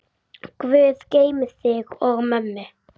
Guð geymi þig og mömmu.